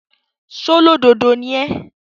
ṣólódodo ni ẹ́?